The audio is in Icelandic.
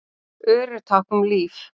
Ör eru tákn um líf.